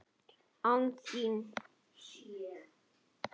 ÁN ÞÍN!?